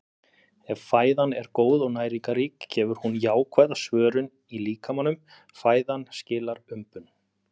Ef fæðan er góð og næringarrík gefur hún jákvæða svörun í líkamanum- fæðan skilar umbun.